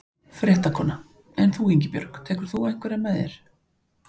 Fréttakona: En þú Ingibjörg, hverja tekur þú með þér?